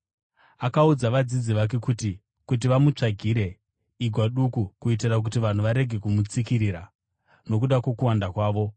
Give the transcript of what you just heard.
Akaudza vadzidzi vake kuti vamutsvagire igwa duku, kuitira kuti vanhu varege kumutsikirira nokuda kwokuwanda kwavo.